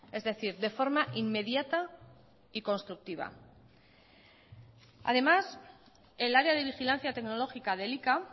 es decir de forma inmediata y constructiva además el área de vigilancia tecnológica de elika